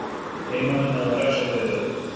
Heimamenn náðu að refsa fyrir þetta.